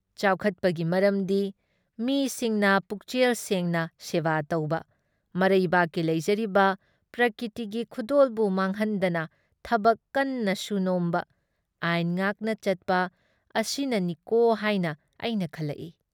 ꯆꯥꯎꯈꯠꯄꯒꯤ ꯃꯔꯝꯗꯤ ꯃꯤꯁꯤꯡꯅ ꯄꯨꯛꯆꯦꯜ ꯁꯦꯡꯅ ꯁꯦꯕꯥ ꯇꯧꯕ, ꯃꯔꯩꯕꯥꯛꯀꯤ ꯂꯩꯖꯔꯤꯕ ꯄ꯭ꯔꯀ꯭ꯔꯤꯇꯤꯒꯤ ꯈꯨꯗꯣꯜꯕꯨ ꯃꯥꯡꯍꯟꯗꯅ ꯊꯕꯛ ꯀꯟꯅ ꯁꯨ ꯅꯣꯝꯕ, ꯑꯥꯏꯟ ꯉꯥꯛꯄ ꯆꯠꯄ ꯑꯁꯤꯅꯅꯤꯀꯣ ꯍꯥꯏꯅ ꯑꯩꯅ ꯈꯜꯂꯛꯏ ꯫